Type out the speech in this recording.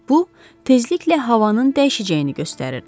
Bu, tezliklə havanın dəyişəcəyini göstərirdi.